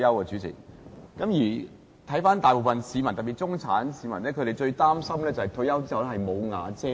主席，看到大部分市民，特別是中產市民，最擔心在退休後"無瓦遮頭"。